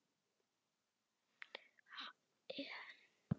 Henrik hafði rétt fyrir sér.